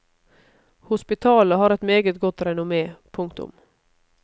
Hospitalet har et meget godt renommé. punktum